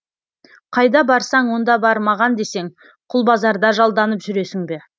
қайда барсаң онда бар маған десең құлбазарда жалданып жүресің бе